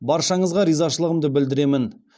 баршаңызға ризашылығымды білдіремін